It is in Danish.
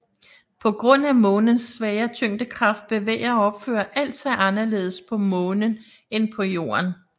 På grund af Månens svagere tyngdekraft bevæger og opfører alt sig anderledes på Månen end på Jorden